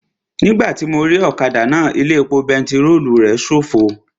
Nígbàtí mo rí ọ̀kadà náà, ilé epo pẹtirólù rẹ̀ ṣófo